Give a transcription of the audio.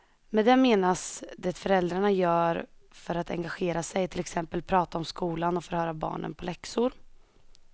Med det menas det föräldrarna gör för att engagera sig, till exempel prata om skolan och förhöra barnen på läxor.